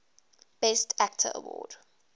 best actor award